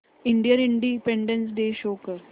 Indian Independence Day show कर